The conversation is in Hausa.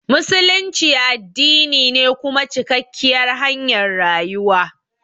Musulunci addini ne kuma cikakkiyar hanyar rayuwa.